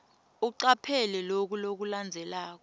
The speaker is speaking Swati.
ucaphele loku lokulandzelako